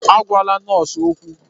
Agwala nọọsụ okwu!